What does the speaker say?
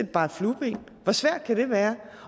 bare et flueben hvor svært kan det være